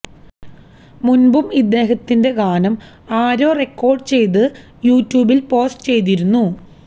മുന്പും ഇദ്ദേഹത്തിന്റെ ഗാനം ആരോ റെക്കോര്ഡ് ചെയ്തു യൂ ട്യൂബില് പോസ്റ്റ് ചെയ്തിരുന്നു